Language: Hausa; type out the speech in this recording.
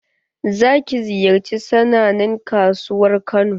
Za ki ziyarci sannanen kasuwar kano?